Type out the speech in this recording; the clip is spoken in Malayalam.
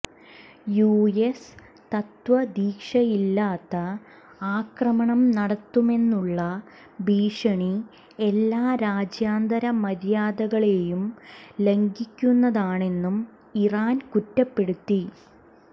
യു എസ് തത്വദീക്ഷയില്ലാത്ത ആക്രമണം നടത്തുമെന്നുള്ള ഭീഷണി എല്ലാ രാജ്യാന്തരമര്യാദകളെയും ലംഘിക്കുന്നതാണെന്നും ഇറാൻ കുറ്റപ്പെടുത്തി